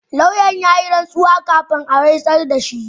Lauyan ya yi rantsuwa kafin a rantsar da shi.